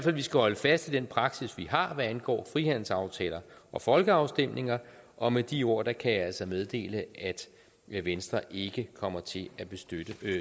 at vi skal holde fast i den praksis vi har hvad angår frihandelsaftaler og folkeafstemninger og med de ord kan jeg altså meddele at venstre ikke kommer til at støtte